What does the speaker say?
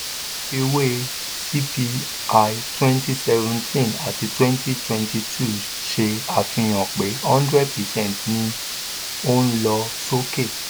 àfiwé cpi twenty seventeen àti twenty twenty two ṣe àfihàn pé hundred percent ni ó ń lọ sókè.